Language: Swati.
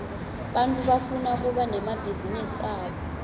bantfu bafuna kuba nemabhizinisi abo